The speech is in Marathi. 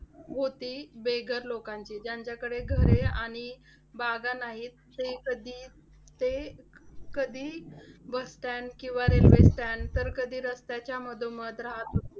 होती बेघर लोकांची. ज्यांच्याकडे घरे आणि बागा नाहीत. ते कधी ते कधी bus stand किंवा railway stand तर कधी रस्त्याच्या मधोमध राहत होती.